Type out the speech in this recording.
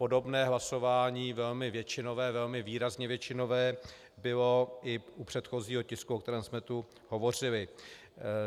Podobné hlasování velmi většinové, velmi výrazně většinové, bylo i u předchozího tisku, o kterém jsme tu hovořili.